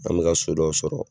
An mɛka so dɔw sɔrɔ.